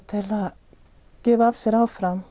gefa af sér áfram